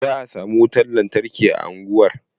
Za a samu watan lantarki a sabon unguwar.